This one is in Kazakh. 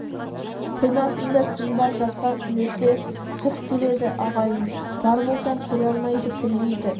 күн артында түн бар жазға ілесе қыс келеді ағайын бар болсаң көре алмайды күндейді